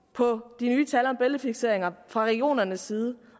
på de nye tal om bæltefikseringer fra regionernes side